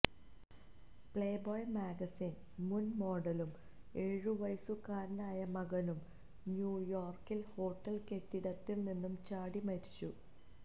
play boy magazine മുന് മോഡലും എഴുവയസ്സുകാരനായ മകനും ന്യൂയോര്ക്കില് ഹോട്ടല് കെട്ടിടത്തില് നിന്നും ചാടി മരിച്ചു